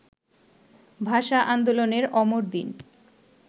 ভাষা আন্দোলনের অমর দিন